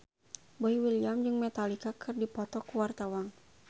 Boy William jeung Metallica keur dipoto ku wartawan